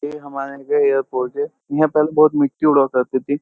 ये हमारे यहाँ का एयरपोर्ट के यहां पहले बहुत मिट्टी उड़ा करती थी।